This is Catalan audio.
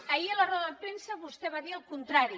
ahir a la roda de premsa vostè va dir el contrari